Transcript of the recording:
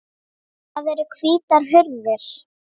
Það eru hvítar hurðir.